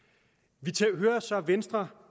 hører så venstre